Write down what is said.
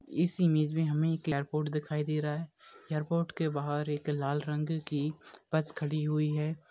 इस इमेज में हमे एक एयरपोर्ट दिखाई दे रहा है एयरपोर्ट के बाहर एक लाल रंग की बस खड़ी हुई है।